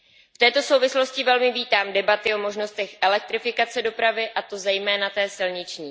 V této souvislosti velmi vítám debaty o možnostech elektrifikace dopravy, a to zejména té silniční.